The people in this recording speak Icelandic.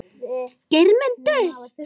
Geirmundur